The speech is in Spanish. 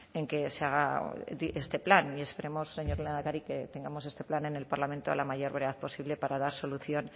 en que se haga este plan y esperemos señor lehendakari que tengamos este plan en el parlamento a la mayor brevedad posible para dar solución